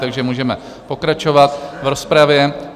Takže můžeme pokračovat v rozpravě.